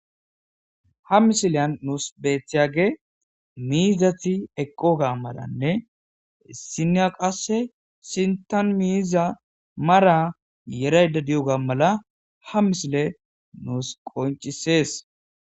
Ha misiliyan nuus beettiyage miizati eqqoga maranne issinniya qasse sintan miiza mara yeraydda diyoga mala ha misile nuus qoncissees.